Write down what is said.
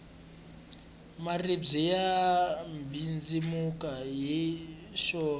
maribye ya mbindzimuka hi woxe